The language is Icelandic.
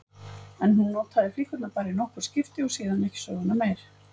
En hún notaði flíkurnar bara í nokkur skipti og síðan ekki söguna meir.